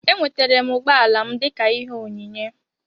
Enwetara m ụgbọala m dịka ihe onyinye